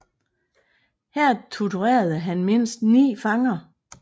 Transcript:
Her torturerede han mindst ni fanger